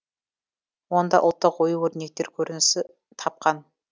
онда ұлттық ою өрнектер көрінісі тапқан